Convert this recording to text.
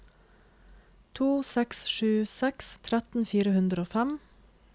to seks sju seks tretten fire hundre og fem